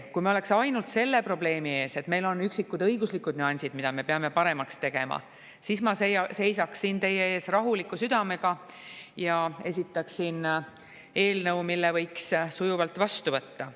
Kui me oleks ainult selle probleemi ees, et meil on üksikud õiguslikud nüansid, mida me peame paremaks tegema, siis ma seisaks siin teie ees rahuliku südamega ja esitaksin eelnõu, mille võiks sujuvalt vastu võtta.